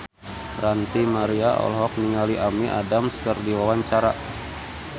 Ranty Maria olohok ningali Amy Adams keur diwawancara